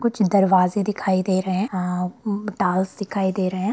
कुछ दरवाजे दिखाई दे रहे है म टाइलस दिखाई दे रहे है।